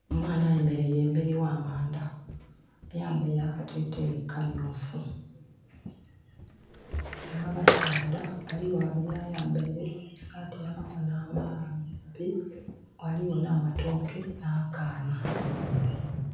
Omwaana ayemereire emberi gha mandha, ayambeire akateteyi kamyufu nha basaadha bali gho babiri ayambeire esati eya makono amampi. Ghaligho na matooke na kaana.